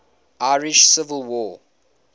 irish civil war